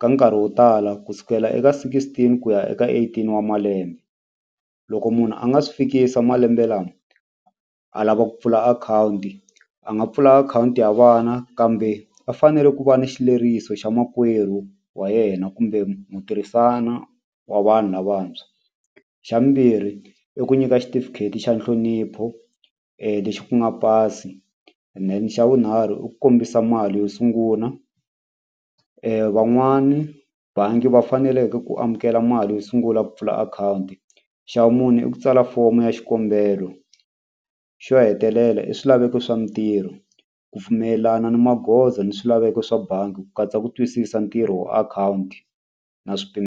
ka nkarhi wo tala ku sukela eka sixteen ku ya eka eighteen wa malembe loko munhu a nga si fikisa malembe lama a lava ku pfula akhawunti a nga pfula akhawunti ya vana kambe va fanele ku va ni xileriso xa makwerhu wa yena kumbe mu tirhisana wa vanhu lavantshwa xa vumbirhi i ku nyika xitifiketi xa nhlonipho lexi ku nga pasi then xa vunharhu i ku kombisa mali yo sungula van'wani bangi va faneleke ku amukela mali yo sungula ku pfula akhawunti xa vumune i ku tsala fomo ya xikombelo xo hetelela i swilaveko swa mintirho ku pfumelelana ni magoza ni swilaveko swa bangi ku katsa ku twisisa ntirho wa akhawunti na .